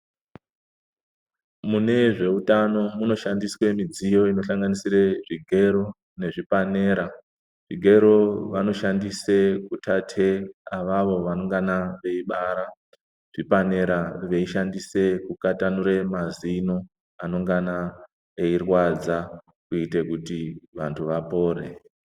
Mune zveutano munoshandiswe midziyo inoshanganisire zvigero nezvipanera. Zvigero vanoshandise kutate avavo vanongana veibara, zvipanera veishandise kukatanure mazino anongana eyirwadza kuite kuti vantu vapore.